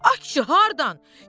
Ay kişi, hardan?